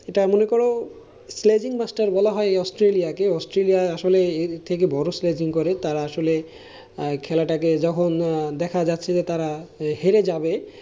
এটা মনে করো sledging master বলা হয় এই অস্ট্রেলিয়াকে, অস্ট্রেলিয়া আসলে এর থেকে বড় sledging করে তারা আসলে খেলাটাকে যখন দেখা যাচ্ছে যে তারা হেরে যাবে।